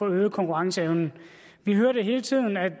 øge konkurrenceevnen vi hørte hele tiden at